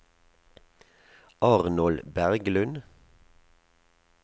Arnold Berglund